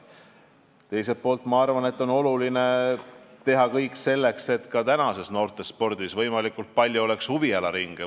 Teiselt poolt ma arvan, et on oluline teha kõik selleks, et noortespordis oleks võimalikult palju huviringe.